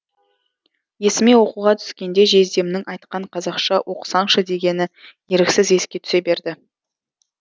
есіме оқуға түскенде жездемнің айтқан қазақша оқысаңшы дегені еріксіз еске түсе берді